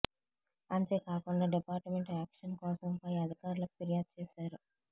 అంతే కాకుండా department action కోసం పై అధికారులకు ఫిర్యాదు చేశారు